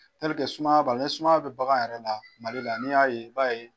sumaya b'ala, nin sumaya bɛ bagan yɛrɛ la Mali la ni y'a ye i b'a ye.